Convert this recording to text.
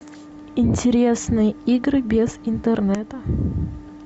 интересные игры без интернета